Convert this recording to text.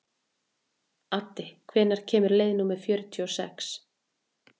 Addi, hvenær kemur leið númer fjörutíu og sex?